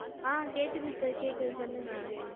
கேக்குது sir